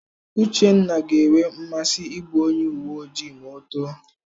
Uchenna ga-enwe nmasị ịbụ onye uwe ojii ma o too.